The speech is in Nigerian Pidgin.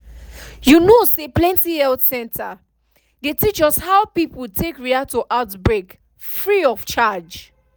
you know say plenty health center dey teach us how people dey take react to outbreak free of charge